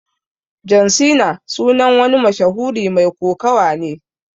John Cena sunan wani mashahuri Mai kokawa ne.